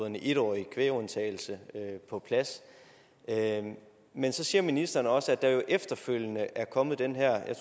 en etårig kvægundtagelse på plads men så siger ministeren også at der jo efterfølgende er kommet den her jeg